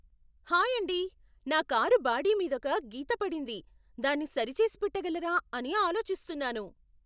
Hi అండీ! నా car body మీదొక గీత పడింది, దాన్ని సరిచేసిపెట్టగలరా అని ఆలోచిస్తున్నాను.